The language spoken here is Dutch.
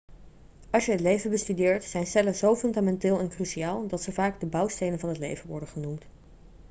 als je het leven bestudeert zijn cellen zo fundamenteel en cruciaal dat ze vaak de bouwstenen van het leven' worden genoemd